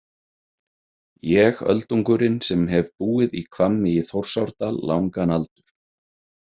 Ég öldungurinn sem hef búið í Hvammi í Þórsárdal langan aldur.